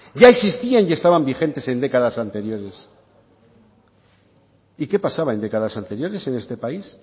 ya existían y estaban vigentes en décadas anteriores y qué pasaba en décadas anteriores en este país